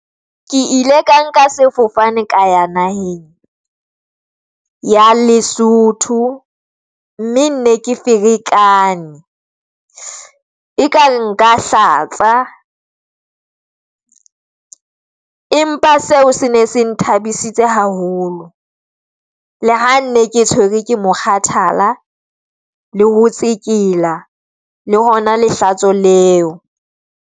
Ke ile ka nka sefofane ka ya naheng ya Lesotho, mme ne ke ferekane. E ka re nka hlatsa empa seo se ne se na thabisitse haholo le ha nne ke tshwerwe ke mokgathala le ho tsekela le hona lehlatso leo.